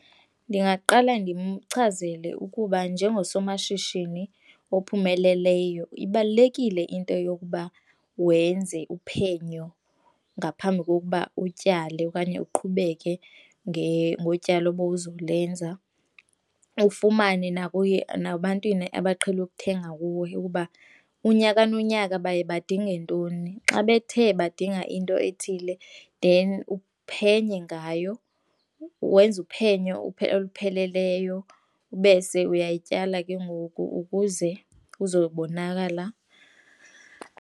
Ndingaqala ndimchazele ukuba njengosomashishini ophumeleleyo ibalulekile into yokuba wenze uphenyo ngaphambi kokuba utyale okanye uqhubeke ngotyalo bowuzolenza, ufumane nabantwini abaqhele ukuthenga kuwe ukuba unyaka nonyaka baye badinge ntoni. Xa bethe badinga into ethile then uphenye ngayo wenze uphenyo olupheleleyo bese uyityala ke ngoku ukuze kuzobonakala.